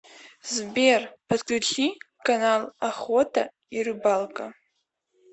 сбер подключи канал охота и рыбалка